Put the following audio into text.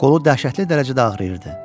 Qolu dəhşətli dərəcədə ağrıyırdı.